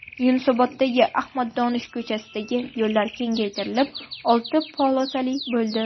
Yunusoboddagi Ahmad Donish ko‘chasidagi yo‘llar kengaytirilib, olti polosali bo‘ldi.